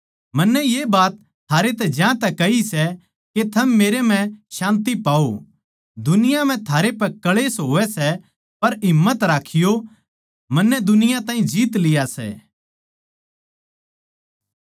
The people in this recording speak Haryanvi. मन्नै ये बात थारैतै ज्यांतै कही सै के थम मेरै म्ह शान्ति पाओ दुनिया म्ह थारै पै क्ळेश होवै सै पर हिम्मत राखियो मन्नै दुनिया ताहीं जीत लिया सै